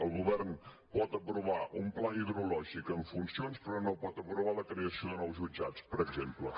el govern pot aprovar un pla hidrològic en funcions però no pot aprovar la creació de nous jutjats per exemple